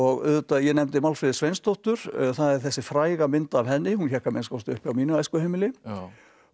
auðvitað ég nefndi Málfríði Sveinsdóttur það er þessi fræga mynd af henni hún hékk að minnsta kosti uppi á mínu æskuheimili og